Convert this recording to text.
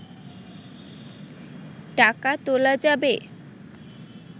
টাকা তোলা যাবে